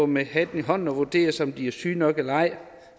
med hatten i hånden og vurderes om de er syge nok eller ej